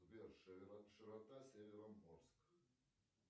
сбер широта североморск